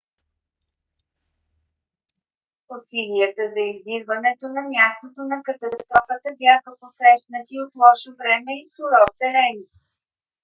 усилията за издирването на мястото на катастрофата бяха посрещнати от лошо време и суров терен